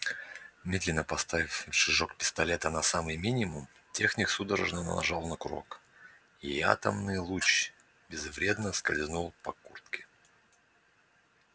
медленно поставив рычажок пистолета на самый минимум техник судорожно нажал на курок и атомный луч безвредно скользнул по куртке